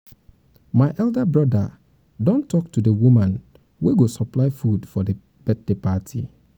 my um elder broda don talk to the talk to the woman um wey go supply food for the birthday party